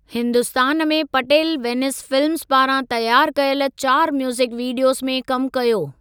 हिन्दुस्तान में पटेल वेनिस फिल्मज़ पारां तयारु कयल चारि म्यूज़िक वीडियोज़ में कमु कयो।